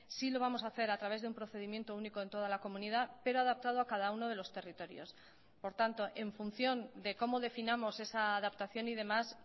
sí lo vamos a hacer a través de un procedimiento único en toda la comunidad pero adaptado a cada uno de los territorios por tanto en función de cómo definamos esa adaptación y demás